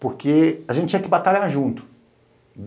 Porque a gente tinha que batalhar junto.